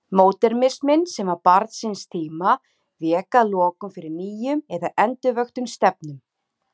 Módernisminn, sem var barn síns tíma, vék að lokum fyrir nýjum eða endurvöktum stefnum.